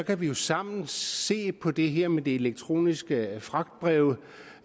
vi jo sammen se på det her med de elektroniske fragtbreve